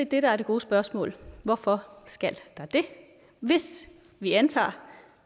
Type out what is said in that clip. det der er det gode spørgsmål hvorfor skal der det hvis vi antager